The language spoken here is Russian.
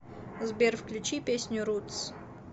сбер включи песню рутс